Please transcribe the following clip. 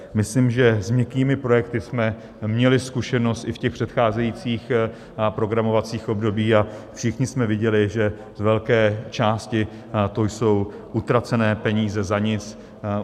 Myslím, že s měkkými projekty jsme měli zkušenost i v těch předcházejících programovacích obdobích, a všichni jsme viděli, že z velké části to jsou utracené peníze za nic.